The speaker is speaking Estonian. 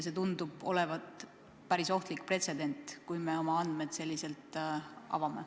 See tundub olevat päris ohtlik pretsedent, kui me oma andmed selliselt avame.